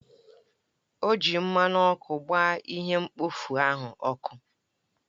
O ji mmanụ ọkụ gbaa ihe mkpofu ahụ ọkụ